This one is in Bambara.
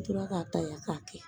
N tora k'a ta yan k'a kɛ